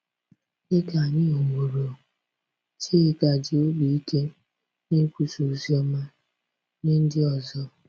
Dị ka anyị hụworo, Chika ji obi ike na-ekwusa ozi ọma nye ndị ọzọ.